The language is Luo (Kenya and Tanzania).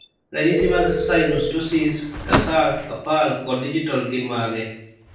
Ranyisi mag synostosis, tarsal, carpal, kod digital gin mage?